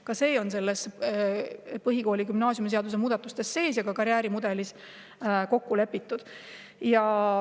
Ka see on põhikooli- ja gümnaasiumiseaduse muudatustes sees ja karjäärimudelis kokku lepitud.